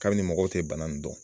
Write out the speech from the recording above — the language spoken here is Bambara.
Kabini mɔgɔw tɛ bana in dɔn.